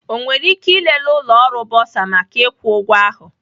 Ọ nwere ike ịlele ụlọ ọrụ bọsa maka ịkwụ ụgwọ ahụ